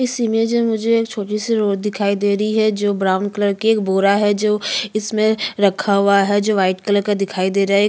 इस इमेज में मुझे एक रोड दिखाई दे रही है जो ब्रॉउन कलर का बोरा है जो इसमें रखा हुआ है वाइट कलर का दिखाई दे रहा है।